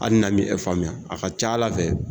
Hali n'an mi e faamuya , a ka ca ala fɛ